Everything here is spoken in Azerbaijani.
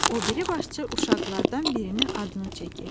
O biri başçı uşaqlardan birinin adını çəkir.